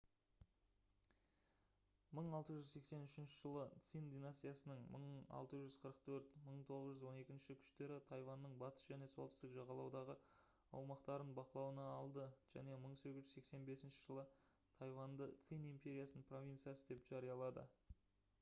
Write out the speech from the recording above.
1683 жылы цинь династиясының 1644-1912 күштері тайваньның батыс және солтүстік жағалаудағы аумақтарын бақылауына алды және 1885 жылы тайваньды цинь империясының провинциясы деп жариялады